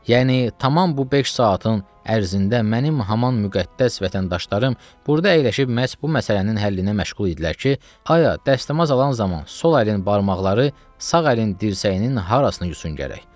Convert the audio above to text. Yəni tamam bu beş saatın ərzində mənim haman müqəddəs vətəndaşlarım burda əyləşib məhz bu məsələnin həllinə məşğul idilər ki, ayə, dəstəmaz alan zaman sol əlin barmaqları sağ əlin dirsəyinin harasını yusun gərək.